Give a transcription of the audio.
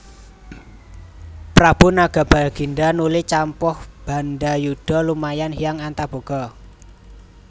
Prabu Nagabagindha nuli campuh bandadyuda lumawan Hyang Antaboga